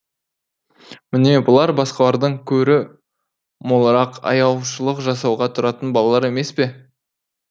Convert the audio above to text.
міне бұлар басқалардан көрі молырақ аяушылық жасауға тұратын балалар емес пе